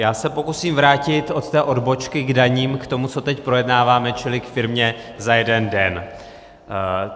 Já se pokusím vrátit od té odbočky k daním k tomu, co teď projednáváme, čili k "firmě za jeden den".